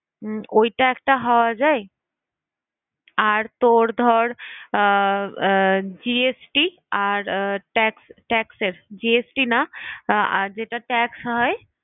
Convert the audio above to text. উম ওইটা একটা হওয়া যায়। আর তোর ধর আহ GST আর আহ tax taxes GST না যেটা tax হয়?